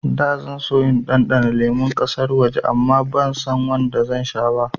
Da zan so in ɗanɗana lemun ƙasar waje amma bansan wanda zan sha ba